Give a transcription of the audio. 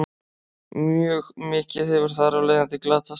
mjög mikið hefur þar af leiðandi glatast